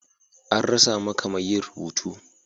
An rasa maka mai yin rubutu.